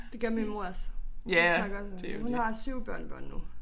Det gør min mor også hun snakker også om. Hun har 7 børnebørn nu